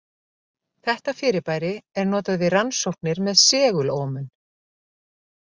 Þetta fyrirbæri er notað við rannsóknir með segulómun.